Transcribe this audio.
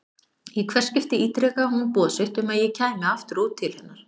Í hvert skipti ítrekaði hún boð sitt um að ég kæmi aftur út til hennar.